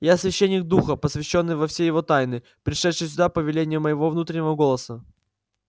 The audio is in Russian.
я священник духа посвящённый во все его тайны пришедший сюда по велению моего внутреннего голоса